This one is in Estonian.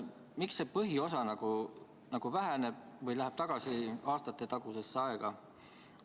Miks see põhiosa väheneb või läheb tagasi aastatetagusesse aega?